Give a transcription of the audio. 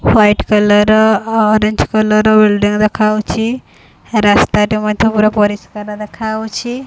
White colour orange colour ର building ଦେଖାହୋଉଚି ରାସ୍ତାଟେ ମଧ୍ୟ ପୁରା ପରିସ୍କାର ଦେଖା ହୋଉଛି ।